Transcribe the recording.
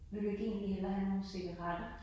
Vil du ikke egentlig hellere have nogle cigaretter?